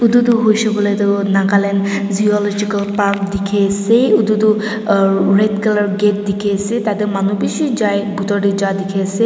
itu toh hoishe koile toh nagaland zoological park dikhe ase itu uh red color gate dikhi ase tate manu bishi jai bitor te jai dikhe ase.